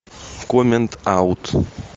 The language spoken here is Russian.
в коммент аут